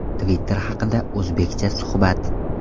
Twitter haqida o‘zBeckcha suhbat.